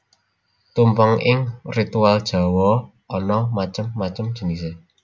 Tumpeng ing ritual Jawa ana macem macem jinisé